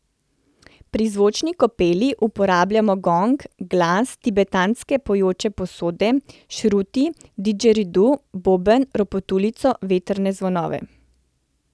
Pri zvočni kopeli uporabljamo gong, glas, tibetanske pojoče posode, šruti, didžeridu, boben, ropotuljico, vetrne zvonove ...